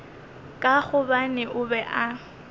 ka gobane o be a